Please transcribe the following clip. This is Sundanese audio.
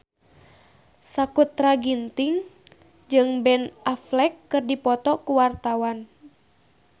Sakutra Ginting jeung Ben Affleck keur dipoto ku wartawan